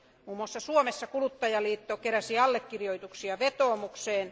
Muun muassa Suomessa kuluttajaliitto keräsi allekirjoituksia vetoomukseen.